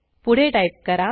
पुढे टाईप करा